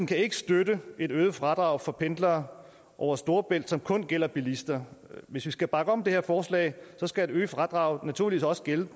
kan ikke støtte et øget fradrag for pendlere over storebælt som kun gælder bilister hvis vi skal bakke op om det her forslag skal et øget fradrag naturligvis også gælde